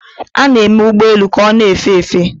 a na-eme ụgbọ elu ka ọ na-efe efe